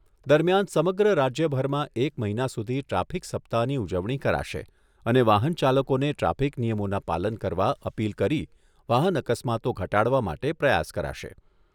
દરમિયાન સમગ્ર રાજ્યભરમાં એક મહિના સુધી ટ્રાફિક સપ્તાહની ઉજવણી કરાશે અને વાહન ચાલકોને ટ્રાફિક નિયમોના પાલન કરવા અપીલ કરી કરી વાહન અકસ્માતો ઘટાડવા માટે પ્રયાસ કરાશે.